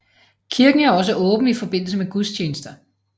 Kirken er også åben i forbindelse med gudstjenester